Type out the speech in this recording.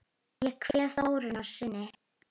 Ég kveð Þórunni að sinni.